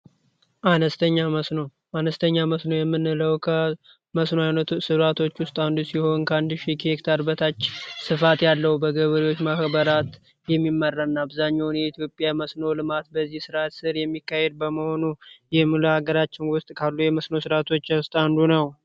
አነስተኛ መስኖ አነስተኛ መስኖ የምንለው ከመስኖ ስርዓቶች ውስጥ አንዱ ሲሆን ከአንድ ሺህ ሄክታር በታች ያለው በገበሬዎች የሚመራው አብዛኛውን ጊዜ በኢትዮጵያ መስኖ ልማት በዚህ ልማት ስር የሚካሄድ በመሆኑ ይህን በሀገራችን ካሉ የመስኖ ስርዓቶች ውስጥ አንዱ ነው።